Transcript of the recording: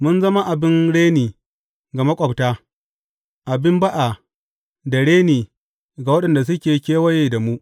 Mun zama abin reni ga maƙwabta, abin ba’a da reni ga waɗanda suke kewaye da mu.